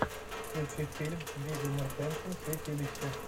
включи фильм вигго мортенсен святилище